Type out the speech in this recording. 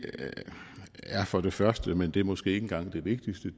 er for det første men det er måske ikke engang det vigtigste